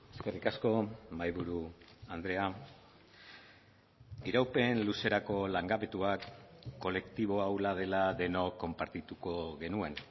eskerrik asko mahaiburu andrea iraupen luzerako langabetuak kolektibo ahula dela denok konpartituko genuen